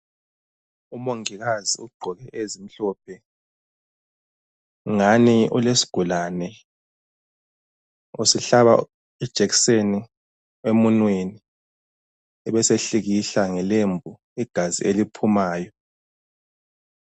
Umongikazi ugqoke ezimhlophe ngani ulesigulane usihlaba ijekiseni emunweni ebesehlikihla ngelembu igazi eliphumayo.